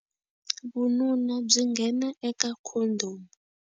Vununa byi nghena eka khondhomu.